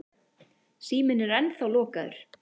Síminn er ennþá lokaður.